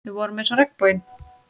Við vorum eins og regnboginn.